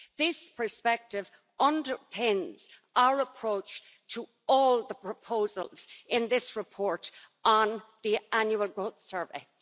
This perspective underpins our approach to all the proposals in this report on the Annual Growth Survey.